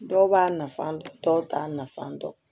Dɔw b'a nafa dɔn dɔw t'a nafan dɔn